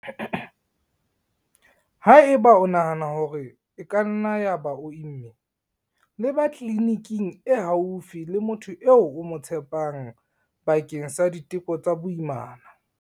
Haeba o nahana hore e ka nna ya ba o imme, leba tleliniking e haufi le motho eo o mo tshepang bakeng sa diteko tsa boimana.